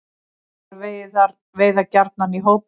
Úlfar veiða gjarnan í hópum.